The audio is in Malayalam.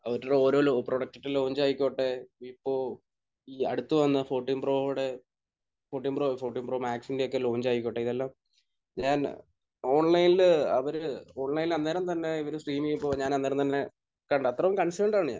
അവരുടെ ഓരോ ലോ ...പ്രൊഡക്ടിന്റെ ലോഞ്ച് ആയിക്കോട്ടെ ഇപ്പോൾ ഈ അടുത്ത് വന്ന ഫോർട്ടീൻ പ്രോയുടെ ഫോർട്ടീൻ പ്രോ അല്ല. ഫോർട്ടീൻ പ്രോ മാക്സിന്റെയൊക്കെ ലോഞ്ച് ആയിക്കോട്ടെ, ഇതെല്ലാം ഞാൻ ഓൺലൈനിൽ അവർ ഓൺലൈനിൽ ആ നേരം തന്നെ സ്ട്രീം ചെയ്തിട്ടുള്ളതാണ്. ഞാൻ ആ നേരം തന്നെ കണ്ടു. അത്രയും കൺസേണ്ട് ആണ് ഞാൻ.